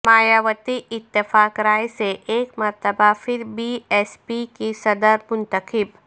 مایاوتی اتفاق رائے سے ایک مرتبہ پھر بی ایس پی کی صدر منتخب